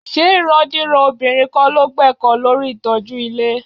Ṣé ìrandíran obìnrin kọ́ ló gbẹ́kọ̀ọ́ lórí ìtọ́jú ilé?